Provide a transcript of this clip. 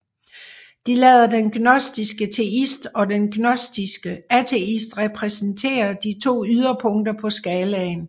De lader den gnostiske teist og den gnostiske ateist repræsentere de to yderpunkter på skalaen